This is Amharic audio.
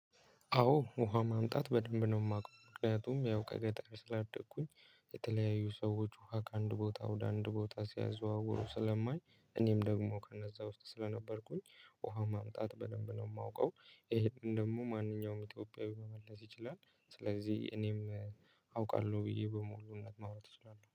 አዎ ውሃ ማምጣት በደንብ ነው የማውቀው ምክንያቱም ያው ከገጠር ስላደኩኝ የተለያዩ ሰዎች ውሃ ከአንድ ቦታ ወደ አንድ ቦታ ሲያዘዋውሩ ስለማይ እኔም ደግሞ ከነዛ ውስጥ ስለነበርኩኝ ውሃ ማምጣት በደንብ ነው የማውቀው። ይሄን ደግሞ ማንኛውም ኢትዮጵያዊ መመለስ ይችላል። ስለዚህ እኔም አውቃለሁ ብዬ በሙሉነት ማውራት እችላለሁ